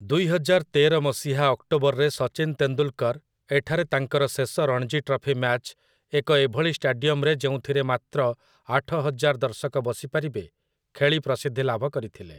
ଦୁଇହଜାର ତେର ମସିହା ଅକ୍ଟୋବରରେ ସଚିନ୍ ତେନ୍ଦୁଲ୍‌କର ଏଠାରେ ତାଙ୍କର ଶେଷ ରଣଜୀ ଟ୍ରଫି ମ୍ୟାଚ୍, ଏକ ଏଭଳି ଷ୍ଟାଡିୟମରେ ଯେଉଁଥିରେ ମାତ୍ର ଆଠହଜାର ଦର୍ଶକ ବସିପାରିବେ, ଖେଳି ପ୍ରସିଦ୍ଧି ଲାଭ କରିଥିଲେ ।